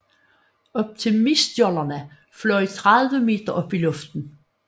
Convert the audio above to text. Optimistjollerne fløj 30 meter op i luften